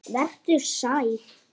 Vertu sæl.